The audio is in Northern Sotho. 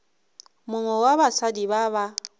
mongwe wa basadi ba ba